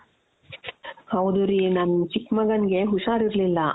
ಹೌದು ರೀ ನನ್ ಚಿಕ್ಕ್ ಮಗನಿಗೆ ಹುಷಾರಿರ್ಲಿಲ್ಲ .